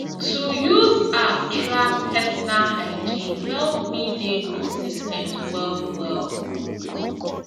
to use app track personal hygiene help me dey consis ten t well well